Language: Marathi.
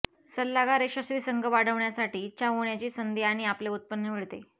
सल्लागार यशस्वी संघ वाढवण्यासाठी इच्छा होण्याची संधी आणि आपले उत्पन्न मिळते